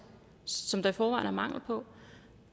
som der i forvejen er mangel på